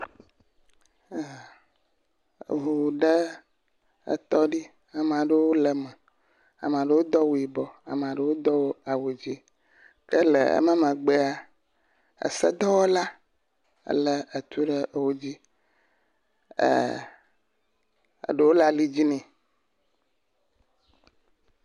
Eʋu ɖe etɔ ɖe. Ame aɖewo le eme. Ame aɖewo do awu yibɔ, ame aɖewo do awu dzɛ ele ƒe megbea. Edɔwɔla le etu ɖe edzi. Eɖewo le ali dzi ne